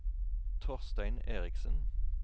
Torstein Eriksen